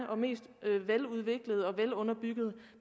veludviklede og velunderbyggede